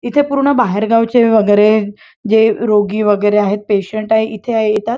इथे पूर्ण बाहेर गावाचे वगैरे जे रोगी वगैरे आहेत पेशंट आहेत इथे येतात.